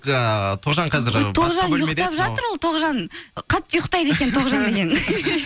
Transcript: ыыы тоғжан қазір тоғжан ұйықтап жатыр ол тоғжан қатты ұйықтайды екен тоғжан деген